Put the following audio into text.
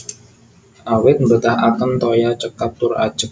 Awit mbetahaken toya cekap tur ajeg